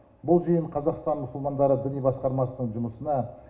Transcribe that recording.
бұл жиын қазақтан мұсылмандары діни басқармасының жұмысына